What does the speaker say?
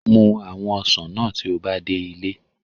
Mus awon osan naa ti o ba de ile